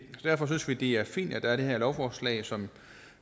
derfor synes vi det er fint at der er det her lovforslag som